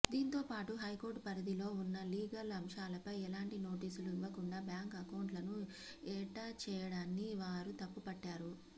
దీంతోపాటు హైకోర్టు పరిధిలో ఉన్న లీగల్ అంశాలపై ఎలాంటి నోటీసులు ఇవ్వకుండా బ్యాంక్ అకౌంట్లను ఎటాచ్ చేయడాన్ని వారు తప్పుపట్టారు